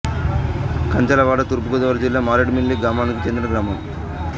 కచ్చలవాడ తూర్పు గోదావరి జిల్లా మారేడుమిల్లి మండలానికి చెందిన గ్రామం